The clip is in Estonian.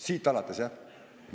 Siit alates, jah?